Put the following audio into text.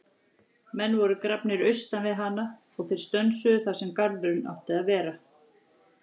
Menn voru grafnir austan við hana og þeir stönsuðu þar sem garðurinn átti að vera.